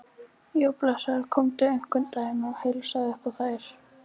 Já, blessaður komdu einhvern daginn og heilsaðu upp á þær.